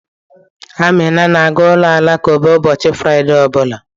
Amina na-aga ụlọ alakụba ụbọchị Fraịde ọ bụla.